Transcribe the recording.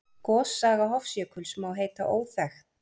Gossaga Hofsjökuls má heita óþekkt.